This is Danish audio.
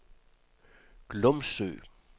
Glumsø